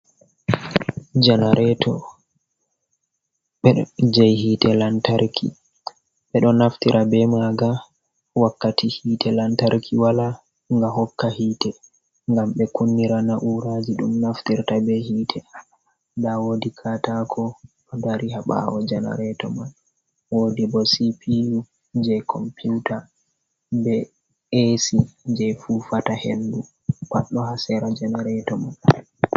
Janareto je hite lantarki bedo naftira be maga wakkati hite lantarki wala ga hokka hite gam be kunnira na’uraji dum naftirta be hite da wodi ka tako do dari ha bawo janareto man wodi bo spiu je computa be Ae si je fufata hendu paddo hasera janareto man.